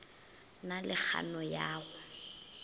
na le kgano ya go